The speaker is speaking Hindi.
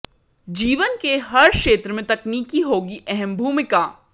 जीवन के हर क्षेत्र में तकनीक की होगी अहम भूमिका